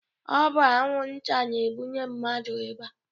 Ọ bu anwu nta na ebụnye mmadu ịba.